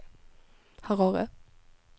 Harare